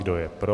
Kdo je pro?